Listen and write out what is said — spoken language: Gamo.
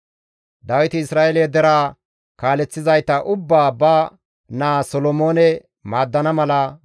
Dawiti Isra7eele deraa kaaleththizayta ubbaa ba naa Solomoone maaddana mala,